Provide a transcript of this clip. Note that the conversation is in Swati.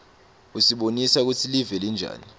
usibonisa kutsi live linjani